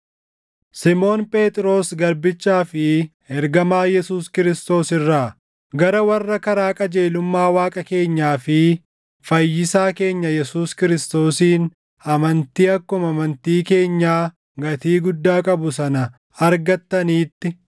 Simoon Phexros garbichaa fi ergamaa Yesuus Kiristoos irraa, Gara warra karaa qajeelummaa Waaqa keenyaa fi Fayyisaa keenya Yesuus Kiristoosiin amantii akkuma amantii keenyaa gatii guddaa qabu sana argattaniitti: